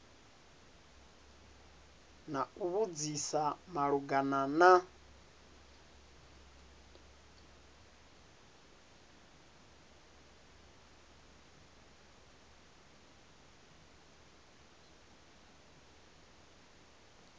na u vhudzisa malugana na